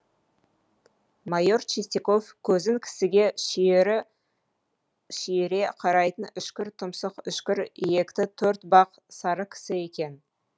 майор чистяков көзің кісіге шүйіре қарайтын үшкір тұмсық үшкір иекті төртбақ сары кісі екен